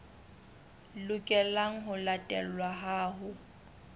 lokelang ho latelwa ha ho